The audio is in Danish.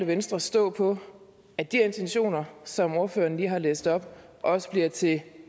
venstre stå på at de intentioner som ordføreren lige har læst op også bliver til